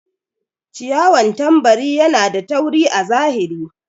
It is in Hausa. ciyawan tambari Yana da tauri a zahiri.